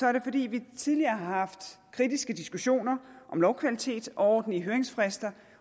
er det fordi vi tidligere har haft kritiske diskussioner om lovkvalitet og ordentlige høringsfrister